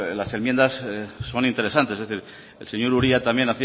las enmiendas son interesantes es decir el señor uria también